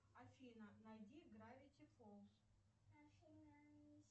афина найди гравити фолз